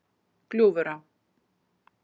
Gljúfurá